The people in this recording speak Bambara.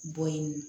Bɔ yen